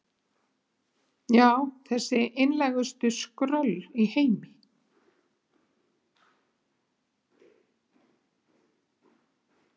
Já, þessi einlægustu skröll í heimi.